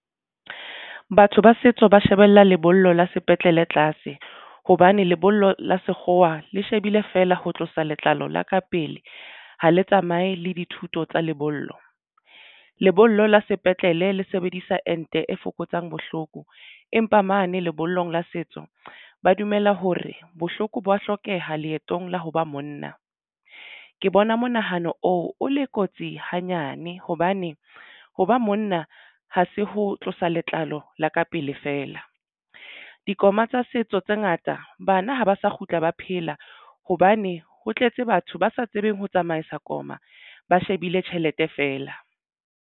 Batho ba setso ba shebella lebollo la sepetlele tlase hobane lebollo la sekgowa le shebile feela ho tlosa letlalo la ka pele. Ha le tsamaye le dithuto tsa lebollo. Lebollo la sepetlele le sebedisa ente e fokotsang bohloko empa mane lebollong la setso ba dumela hore bohloko bo wa hlokeha leetong la ho ba monna. Ke bona monahano oo o le kotsi hanyane hobane ho ba monna ho se ho tlosa letlalo la ka pele feela dikoma tsa setso tse ngata. Bana ha ba sa kgutla, ba phela, hobane ho tletse batho ba sa tsebeng ho tsamaisa koma ba shebile tjhelete feela.